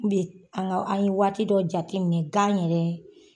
an ka an ye waati dɔ jate minɛ gan yɛrɛ